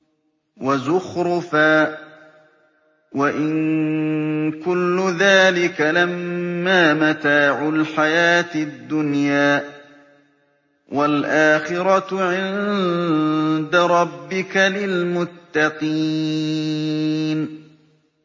وَزُخْرُفًا ۚ وَإِن كُلُّ ذَٰلِكَ لَمَّا مَتَاعُ الْحَيَاةِ الدُّنْيَا ۚ وَالْآخِرَةُ عِندَ رَبِّكَ لِلْمُتَّقِينَ